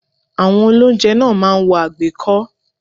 Àwọn olóúnjẹ náà máa ń wọ àgbékọ́